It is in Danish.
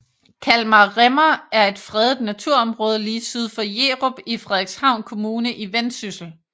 Kalmar Rimmer er et fredet naturområde lige syd for Jerup i Frederikshavn Kommune i Vendsyssel